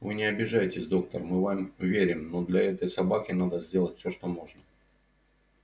вы не обижайтесь доктор мы вам верим но для этой собаки надо сделать все что можно